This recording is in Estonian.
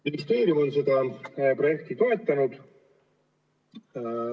Ministeerium on seda projekti toetanud.